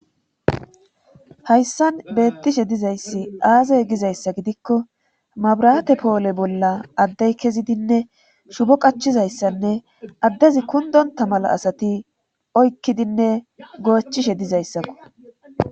hayssan beettishe dizayssi aazey gizayssa gidikko mabraate poole bolla addey kezidinne shubo qachizayssanne addezi kundonta mala asati oykkidinne goochishe dizayssakko